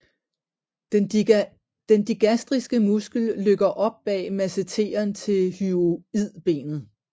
Den digastriske muskel løkker op bag masseteren til hyoidbenet